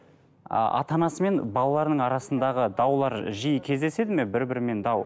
ы ата анасымен балаларының арасындағы даулар жиі кездеседі ме бір бірімен дау